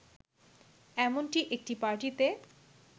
এমনটি একটি পার্টিতে